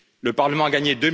Le Parlement a gagné...